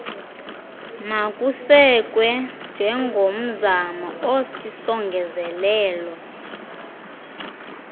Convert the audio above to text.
makusekwe njengomzamo osisongezelelo